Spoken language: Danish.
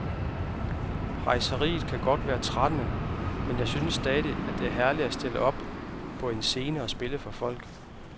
Rejseriet kan godt være trættende, men jeg synes stadig, det er herligt at stille sig op på en scene og spille for folk.